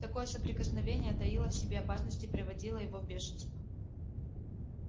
такое соприкосновение таило в себе опасность и приводило его в бешенство